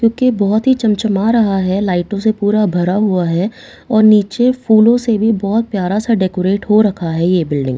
क्योंकि यह बहुत ही चमचमा रहा है लाइटों से पूरा भरा हुआ है और नीचे फूलों से भी बहुत प्यारा सा डेकोरेट हो रखा है ये बिल्डिंग --